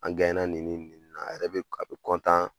An nin nin ne la, a yɛrɛ a bi